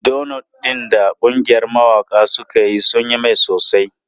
Donots ɗin da ƙungiyar mawaƙa suka yi sun yi mai sosai.